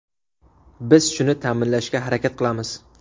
Biz shuni ta’minlashga harakat qilamiz.